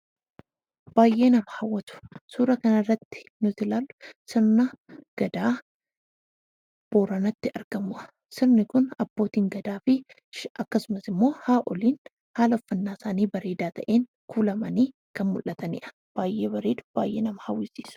Baay'ee nama hawwatu suuraa kanarratti kan argitan sirna Gadaa Booranatti argamudha. Sirni kun abbootiin Gadaa akkasumas immoo haadholiin haala uffannaa isaanii bareedaa ta'een kuulamanii mul'atu baay'ee bareedu baay'ee nama hawwatu.